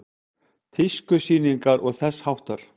Tískusýningar og þess háttar?